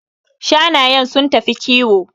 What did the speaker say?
Shanayen sun tafi kiwo